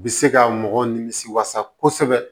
Bɛ se ka mɔgɔw nimisi wasa kosɛbɛ